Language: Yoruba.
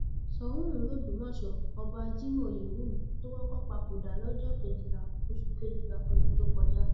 ṣòun ìlú ògbómọṣọ ọba cs] jimoh oyewumi ló kọkọ papòdà lọjọ kejìlá oṣù kejìlá ọdún tó kọjá